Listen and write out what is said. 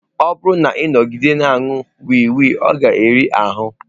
Ọ bụrụ na ị nọgide na-aṅụ wii wii, ọ ga-eri ahụ.